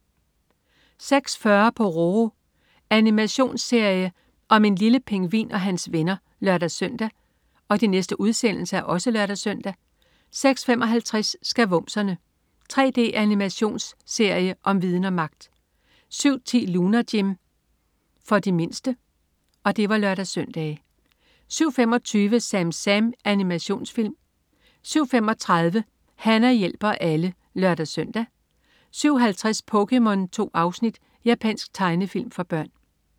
06.40 Pororo. Animationsfilm om en lille pingvin og hans venner (lør-søn) 06.55 Skavumserne. 3D-animationsserie om viden og magt! (lør-søn) 07.10 Lunar Jim. Animationsserie for de mindste (lør-søn) 07.25 SamSam. Animationsfilm 07.35 Hana hjælper alle (lør-søn) 07.50 POKéMON. 2 afsnit. Japansk tegnefilm for børn